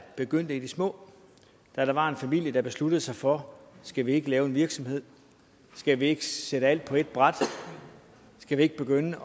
begyndte i det små da der var en familie der besluttede sig for at skal vi ikke lave en virksomhed skal vi ikke selv alt på ét bræt skal vi ikke begynde